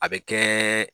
A bɛ kɛ